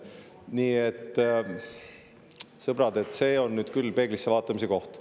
Nii et, sõbrad, see on nüüd küll peeglisse vaatamise koht.